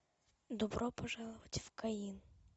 добро пожаловать в каин